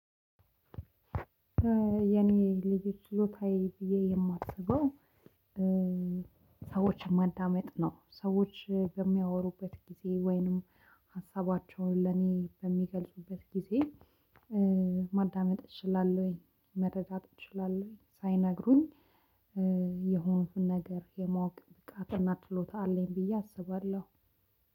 የኔ ልዩ ችሎታዬ ብዬ የማስበው። ሰዎችን ማዳመጥ ነው ሰዎች በሚያወሩበት ጊዜ ወይንም ሀሳባቸውን ለኔ በሚገልጹበት ጊዜ። ማዳመጥ እችላለሁ ወይ መረጃ እችላለሁ ወይ ሳይነግሩኝ የሆኑትን ነገር የማወቅ ብቃትና ትሎታ አለኝ ብዬ አስባለሁ።